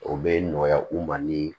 O bɛ nɔgɔya u ma ni